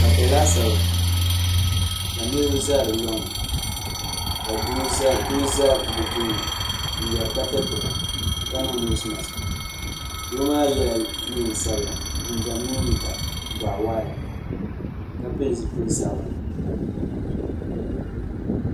pata laasabu ka niriba Zan di luŋ ni ka do za be tuuni n yɛra ka tɛritɛba ka niŋ nosimaki do maa yɛla nisabila jijam mini liga bugiwaɣila ka pɛli zupili sabinli